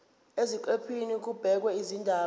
eziqephini kubhekwe izindaba